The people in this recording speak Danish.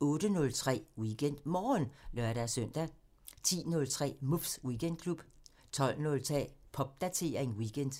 08:03: WeekendMorgen (lør-søn) 10:03: Muffs Weekendklub 12:03: Popdatering weekend